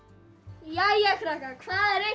jæja krakkar hvað er einn